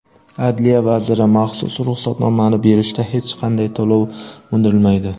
Adliya vaziri: maxsus ruxsatnomani berishda hech qanday to‘lov undirilmaydi.